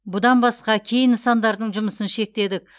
бұдан басқа кей нысандардың жұмысын шектедік